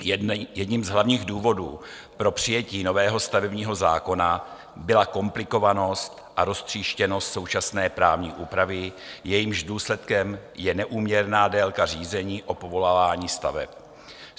Jedním z hlavních důvodů pro přijetí nového stavebního zákona byla komplikovanost a roztříštěnost současné právní úpravy, jejímž důsledkem je neúměrná délka řízení o povolování staveb.